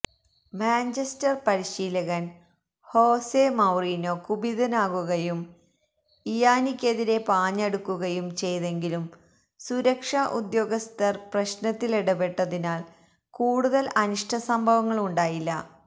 Manchester പരിശീലകന് Jose Mourinho കുപിതനാകുകയും ഇയാനിക്കെതിരെ പാഞ്ഞടുക്കുകയും ചെയ്തെങ്കിലും സുരക്ഷാ ഉദ്യോഗസ്ഥര് പ്രശ്നത്തിലിടപെട്ടതിനാല് കൂടുതല് അനിഷ്ട സംഭവങ്ങുണ്ടായില്ല